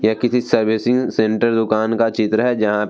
ये किसी servicing centre दुकान का चित्र है जहां --